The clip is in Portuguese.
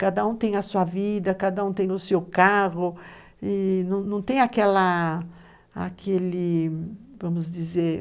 Cada um tem a sua vida, cada um tem o seu carro, e não tem aquela, aquele, vamos dizer,